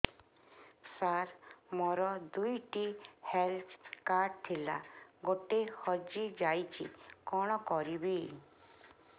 ସାର ମୋର ଦୁଇ ଟି ହେଲ୍ଥ କାର୍ଡ ଥିଲା ଗୋଟେ ହଜିଯାଇଛି କଣ କରିବି